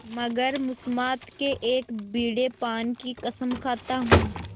मगर मुसम्मात के एक बीड़े पान की कसम खाता हूँ